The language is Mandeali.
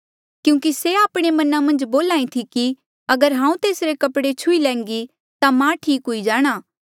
क्यूंकि तेस्से आपणे मना मन्झ बोल्हा ई थी कि अगर हांऊँ तेसरे कपड़े छुही लैन्घी ता मां ठीक हुई जाणा